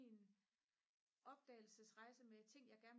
opdagelsesrejse med ting jeg gerne vil